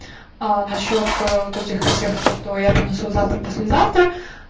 а насчёт вот этих всех то что я принесу завтра послезавтра